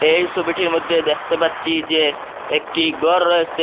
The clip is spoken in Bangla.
এই ছবিটির মধ্যে দেখতে পাচ্ছি যে একটি ঘর রয়েসে।